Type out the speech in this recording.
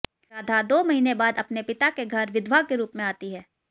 राधा दो महीने बाद अपने पिता के घर विधवा के रूप में आती है